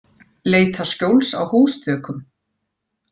Leita skjóls á húsþökum